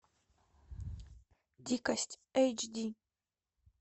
дикость эйч ди